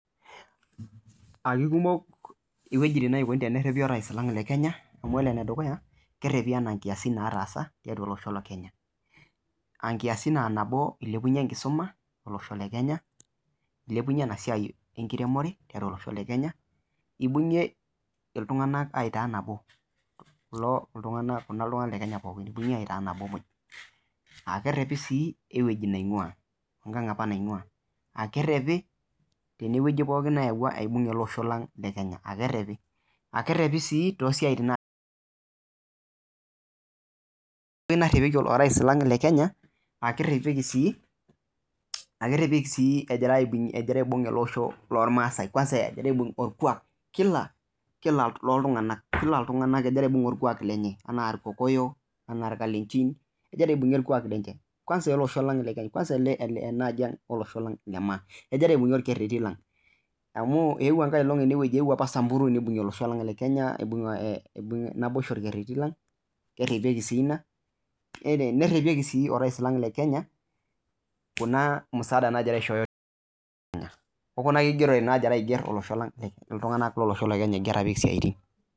Kekumok ng'wejitin naiko tenerepi rais lang lekenya amu kore nedukuya kerepi tana nkiyasi natasa tatua losho lekenya nkiyasi nabo ilipunye nkisuma olosho lekenya, elepunye ana siai nkiremore tatua losho lekenya, ebungie ltunganak ataa nabo loo ltunganak lekenya pooki ebungie ataa nabo, kerepi sii ng'weji neing'ua ng'ang apa neing'ua kerepi tenie ng'oji newuo abungie losho lang lekenya, kerepi tosiatin lotasaa rais lang lekenya kerepi sii egira aibug losho lolmasae kwansa lokwa kila ltunganak logira aibug lkwak lenye ana lkokoyo tanaa lkalenjin kegira aibug lkwak lenche kwansa ale osho lang lekenya anaji ang olosho lemaaa egira aibug lkereti lang amu ewuo nkae elong ene ewuo apa samburu nebungie losho lang lekenya naa aibuge naboisho ake lkereti lang kerepi sii Ina, nerepeki sii rais lang lekenya kuna msaada nagira aishoyo olosho lekenya okuna kigerore nagira asho losho lang tanake losho lekenya nkera apik siatin.